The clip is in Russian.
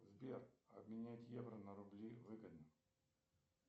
сбер обменять евро на рубли выгодно